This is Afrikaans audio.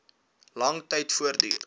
lang tyd voortduur